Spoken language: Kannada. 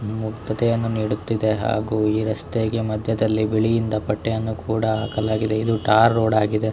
ಮುಕ್ತತೆಯನ್ನು ನೀಡುತ್ತಿದೆ ಹಾಗು ಈ ರಸ್ತೆಗೆ ಮಧ್ಯದಲ್ಲಿ ಬಿಳಿಯಿಂದ ಪಟ್ಟೆಅನ್ನು ಕೂಡ ಹಾಕಲಾಗಿದೆ ಇದು ಟಾರ್ ರೋಡ್ ಆಗಿದೆ .